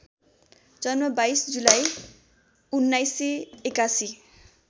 जन्म २२ जुलाई १९८१